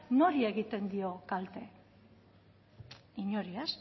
nori egiten dio kalte inori ez